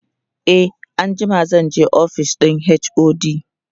e anjima zanje ofishin HOD